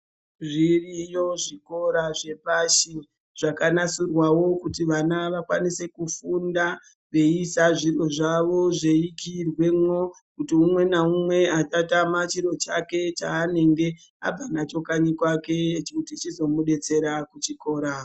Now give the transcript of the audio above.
Zviriyo zvikora zvepashi zvakanasirwawo kuti vana vakwanise kufunda veiisa zviro zvavo zveikiyirwamo kuti umwe naumwe asatama chiro chake chaanenge abva nacho kanyi kwake kuti chizomudetsera kuchikora